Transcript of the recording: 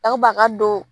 Aw ba a ka don